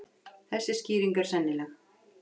Þessi skýring er sennileg.